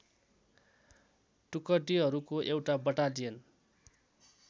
टुकडीहरूको एउटा बटालियन